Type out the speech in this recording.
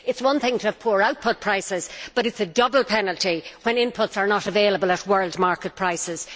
It is one thing to have poor output prices, but it is a double penalty when inputs are not available at world market prices.